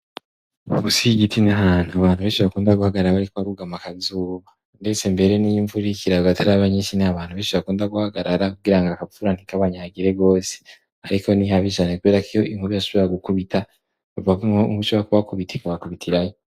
Munsi y'igiti ni ahantu abantu benshi bakunda guhagarara bariko barugama akazuba ndetse mbere n'iy'imvura iriko irarwa itaraba yinshi ni abantu benshi bakunda guhagarara kugira ngo akavura ntikabanyagire gose ariko nihabi cane kubera ko iyo inkuba ishobora gukubita ishobora kubakubita ikabakubitirayo